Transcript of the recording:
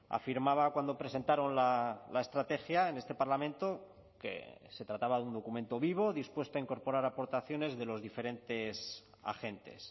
afirmaba cuando presentaron la estrategia en este parlamento que se trataba de un documento vivo dispuesto a incorporar aportaciones de los diferentes agentes